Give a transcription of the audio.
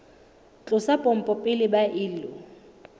tlosa pompo pele ba ilo